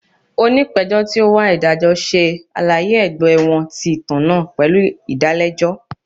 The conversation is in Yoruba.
Onipejọ ti o n wa idajọ ṣe alaye ẹgbẹ wọn ti itan naa pẹlu idalẹjọ.